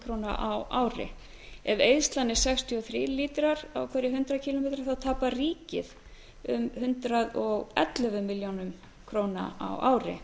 króna á ári ef eyðslan er sextíu og þrír lítrar á hundrað kíló metra þá tapar ríkið um hundrað og ellefu milljónum króna á ári